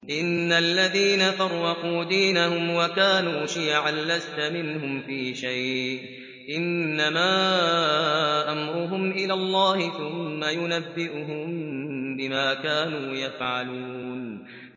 إِنَّ الَّذِينَ فَرَّقُوا دِينَهُمْ وَكَانُوا شِيَعًا لَّسْتَ مِنْهُمْ فِي شَيْءٍ ۚ إِنَّمَا أَمْرُهُمْ إِلَى اللَّهِ ثُمَّ يُنَبِّئُهُم بِمَا كَانُوا يَفْعَلُونَ